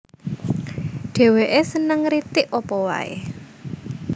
Dhèwèké seneng ngritik apa waé